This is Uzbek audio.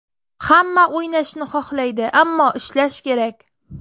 Hamma o‘ynashni xohlaydi, ammo ishlash kerak.